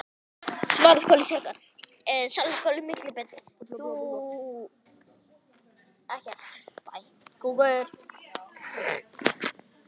En þetta er allt saman hárrétt, hugsaði Össur.